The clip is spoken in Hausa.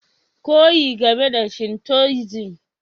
Koyi game da Shintoism